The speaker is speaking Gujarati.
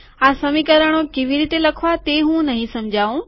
આ સમીકરણો કેવી રીતે લખવા તે હું નહિ સમજાઉં